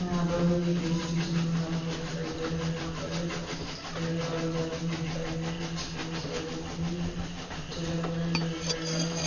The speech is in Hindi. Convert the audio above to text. यहाँ पर भी एक स्टेशन बना हुआ दिखाई दे रहा है जहाँ पर एक रेलगाड़ी जाती हुई दिखाई दे रही है जिसके बहुत सारे डिब्बे भी रंग-बिरंगे दिखाई दे रहे हैं।